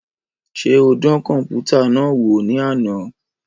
Ṣe o dàn kọnputa náà wò ni àna?